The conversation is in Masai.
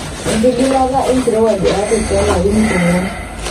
Enkigilata enkirowuaj e Artic toolarin iip onwgwan.